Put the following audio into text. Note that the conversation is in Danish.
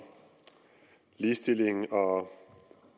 ligestilling og